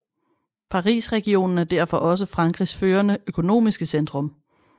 Parisregionen er derfor også Frankrigs førende økonomiske centrum